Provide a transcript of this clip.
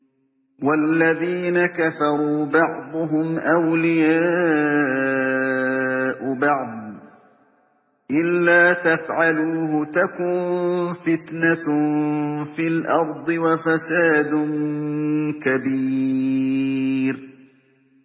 وَالَّذِينَ كَفَرُوا بَعْضُهُمْ أَوْلِيَاءُ بَعْضٍ ۚ إِلَّا تَفْعَلُوهُ تَكُن فِتْنَةٌ فِي الْأَرْضِ وَفَسَادٌ كَبِيرٌ